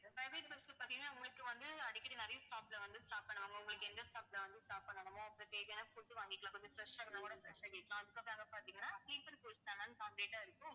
இந்த private bus ல பார்த்தீங்கன்னா உங்களுக்கு வந்து அடிக்கடி நிறைய stop ல வந்து stop பண்ணுவாங்க. உங்களுக்கு எந்த stop ல வந்து stop பண்ணணுமோ அதுக்கு தேவையான food வாங்கிக்கலாம். கொஞ்சம் fresh ஆகணும்னா கூட fresh ஆகிக்கலாம். அதுக்கப்புறம் அங்க பார்த்தீங்கன்னா sleeper coach தான் ஆ இருக்கும்.